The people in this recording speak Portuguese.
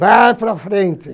Vai para frente.